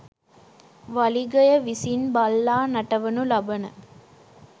වලිගය විසින් බල්ලා නටවනු ලබන